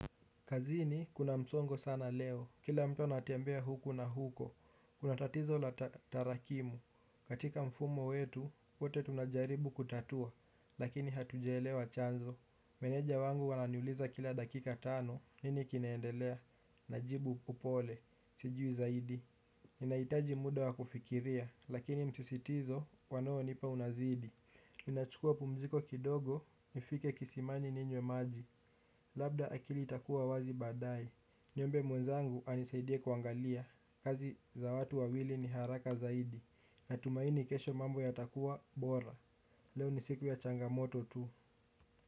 Kazini, kuna msongo sana leo. Kila mtu anatembea huku na huko. Kuna tatizo la tarakimu. Katika mfumo wetu, wote tunajaribu kutatua, lakini hatujaelewa chanzo. Meneja wangu ananiuliza kila dakika tano. Nini kinaendelea? Najibu upole. Sijui zaidi. Ninahitaji muda wa kufikiria, lakini msisitizo wanaonipa unazidi. Ninachukua pumziko kidogo, nifike kisimani ninywe maji. Labda akili itakuwa wazi baadae. Niombe mwenzangu anisaidie kuangalia. Kazi za watu wawili ni haraka zaidi. Natumaini kesho mambo yatakuwa bora. Leo ni siku ya changamoto tu.